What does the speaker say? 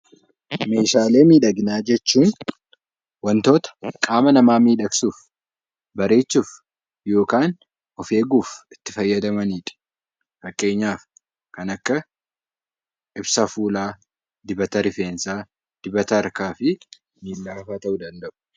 Meeshaalee miidhaginaa jechuun waantota qaama namaa miidhagsuuf bareechuuf yookaan of qabachuuf itti fayyadamanidha. Fakkeenyaaf kan akka ibsa fuulaa, dibata rifeensaa , dibata harkaa fi dibata miilaa ta'uu danda'u.